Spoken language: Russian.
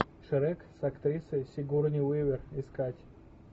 шрек с актрисой сигурни уивер искать